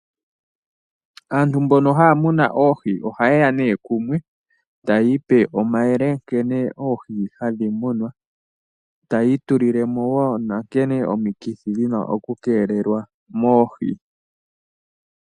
Aantu mbono haya munu oohi ohaye ya nduno kumwe taya ipe omayele nkene oohi hadhi munwa, taya itulile mo wo nankene omikithi dhi na okukeelelwa moohi.